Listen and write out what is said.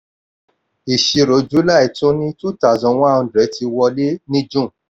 ìṣirò july tún ni two thousand one hundred ti wọlé ní june.